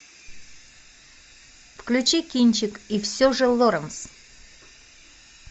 включи кинчик и все же лоранс